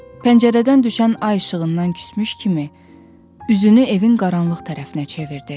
Pəncərədən düşən ay işığından küsmüş kimi üzünü evin qaranlıq tərəfinə çevirdi.